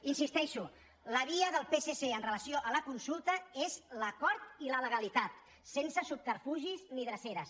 hi insisteixo la via del psc amb relació a la consulta és l’acord i la legalitat sense subterfugis ni dreceres